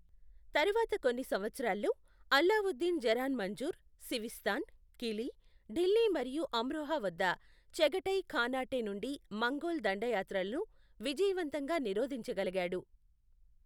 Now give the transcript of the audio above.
తరువాత కొన్ని సంవత్సరాల్లో, అల్లావుద్దీన్ జరాన్ మంజుర్, సివిస్తాన్, కిలీ, ఢిల్లీ మరియు అమ్రోహా వద్ద చగటై ఖానాటే నుండి మంగోల్ దండయాత్రలను విజయవంతంగా నిరోధించగలిగాడు.